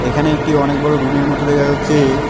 এখানে একটি অনেক বড় রুম -এর মত দেখা যাচ্চে।